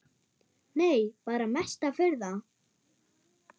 Nei bara mesta furða.